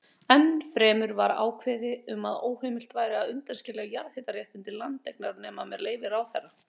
Eitt sinn vorum við nokkrir að ræða bindindismálin og þá skaut Teitur fram þessum stökum